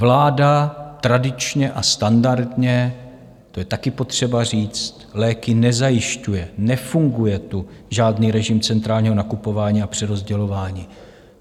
Vláda tradičně a standardně, to je taky potřeba říct, léky nezajišťuje, nefunguje tu žádný režim centrálního nakupování a přerozdělování.